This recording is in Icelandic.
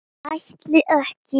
Ætla ekki.